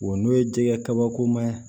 Wa n'o ye jɛgɛ kabakoma ye